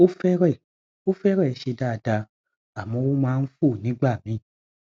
ó fẹrẹẹ ó fẹrẹẹ ṣe dáadáa àmọ ó máa ń fò nígbà míì